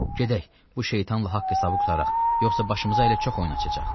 Gedək, bu şeytanla haqq-hesabı qurtaraq, yoxsa başımıza hələ çox oyun açacaq.